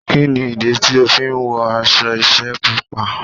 Kí ni ìdí tí ó fi wọ aṣọ iṣẹ́ Pupa?